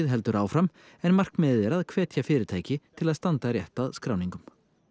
heldur áfram en markmiðið er að hvetja fyrirtæki til að standa rétt að skráningum